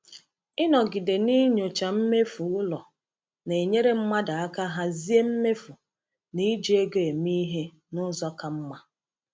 Ịnọgide n’inyochaa mmefu ụlọ na-enyere mmadụ aka hazie mmefu na iji ego eme ihe n'ụzọ ka mma.